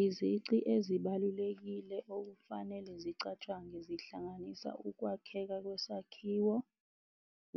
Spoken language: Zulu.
Izici ezibalulekile okufanele zicatshangwe, zihlanganisa ukwakheka kwesakhiwo,